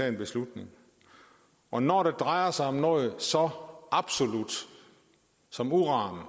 en beslutning og når det drejer sig om noget så absolut som uran